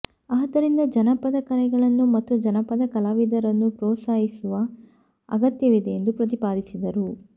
ಆದ್ದರಿಂದ ಜನಪದ ಕಲೆಗಳನ್ನು ಮತ್ತು ಜನಪದ ಕಲಾವಿದರನ್ನು ಪ್ರೌತ್ಸಾಹಿಸುವ ಅಗತ್ಯವಿದೆ ಎಂದು ಪ್ರತಿಪಾದಿಸಿದರು